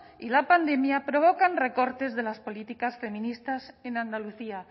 y la pandemia provocan recortes de las políticas feministas en andalucía